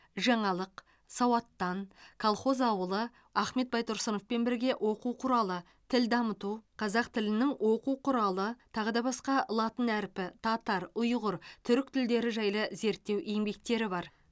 жаңалық сауаттан колхоз ауылы ахмет байтұрсыновпен бірге оқу құралы тіл дамыту қазақ тілінің оқу құралы тағы да басқа латын әрпі татар ұйғыр түрік тілдері жайлы зерттеу еңбектері бар